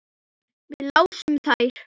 Við lásum þær.